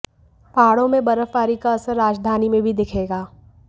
पहाड़ों में बर्फबारी का असर राजधानी में भी दिखेगा